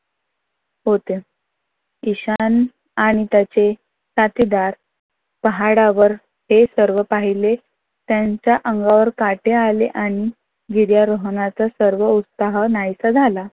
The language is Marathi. होते. ईशान आणि त्याचे साथीदार पहाडावर ते सर्व पहिले त्यांच्या अंगावर काटे आहे आणि गिर्यारोहणाचा सर्व उत्साह नाहीसा झाला.